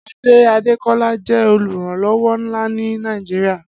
Ade Adekola jẹ̀ ólúyàwórán nlá ni Nàijiriá